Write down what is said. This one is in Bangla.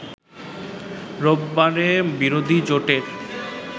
রোববারে বিরোধী জোটের